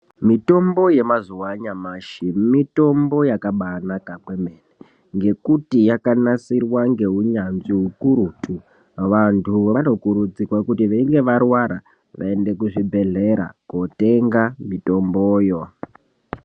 Mitombo yemazuva anyamashi mitombo yakabanaka kwemene. Ngekuti yakanasirwa ngeunyanzvi hukurutu vantu vanokurudzirwa kuti veinge varwara vaende kuzvibhedhlera kotenga mitomboyo.